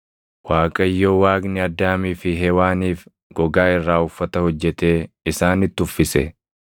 Waaqayyo Waaqni Addaamii fi Hewaaniif gogaa irraa uffata hojjetee isaanitti uffise.